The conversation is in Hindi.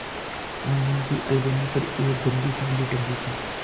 आँगन की अलगनी पर एक गंदी साड़ी टंगी थी